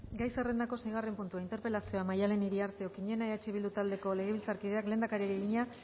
gai zerrendako seigarren puntua interpelazioa maddalen iriarte okiñena eh bildu taldeko legebiltzarkideak lehendakariari egina